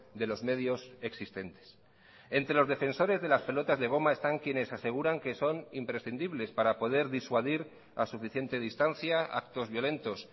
de los medios existentes entre los defensores de las pelotas de goma están quienes aseguran que son imprescindibles para poder disuadir a suficiente distancia actos violentos